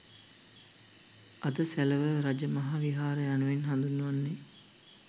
අද සැලව රජමහා විහාරය යනුවෙන් හඳුන්වන්නේ